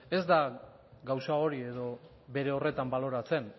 ez da gauza hori edo bere horretan baloratzen